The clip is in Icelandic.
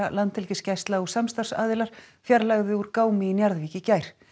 Landhelgisgæsla og samstarfsaðilar fjarlægðu úr gámi í Njarðvík í gær